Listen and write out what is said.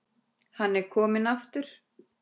Hann er kominn aftur!